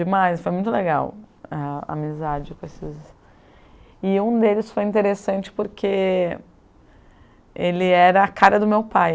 demais. Foi muito legal a amizade com esses... E um deles foi interessante porque ele era a cara do meu pai.